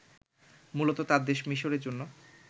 মূলত তাঁর দেশ মিসরের জন্য